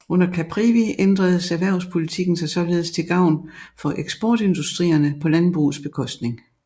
Under Caprivi ændredes erhvervspolitikken sig således til gavn for eksportindustrierne på landbrugets bekostning